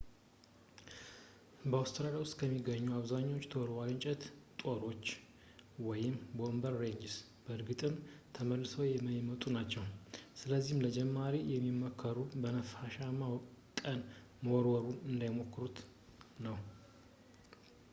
በአውስትራሊያ ውስጥ የሚገኙት አብዛኛዎቹ ተወርዋሪ የእንጨት ጦሮች boomerangs በእርግጥም ተመልሰው የማይመጡ ናቸው። ስለዚህም ለጀማሪዎች የሚመከረው በነፋሻማ ቀን መወርወሩን እንዳይሞክሩት ነው